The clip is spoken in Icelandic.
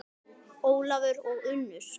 Ólafur og Unnur.